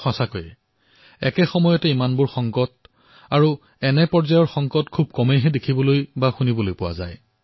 সঁচাকৈয়ে এটা সময়তে ইমানবোৰ সমস্যাৰ এনেকুৱা স্তৰৰ সমস্যা খুবেই কম দেখিবলৈ পোৱা যায়